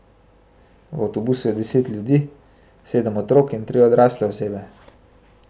V avtobusu je deset ljudi, sedem otrok in tri odrasle osebe.